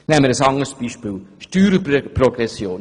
Nehmen wir ein anderes Beispiel: Steuerprogression.